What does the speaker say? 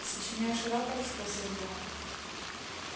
сочиняешь рапорт спросил я